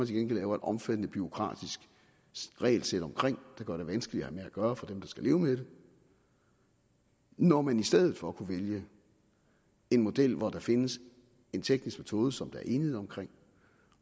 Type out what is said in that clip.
gengæld laver et omfattende bureaukratisk regelsæt omkring der gør den vanskeligere at have med at gøre for dem der skal leve med den når man i stedet for kunne vælge en model hvor der findes en teknisk metode som der er enighed omkring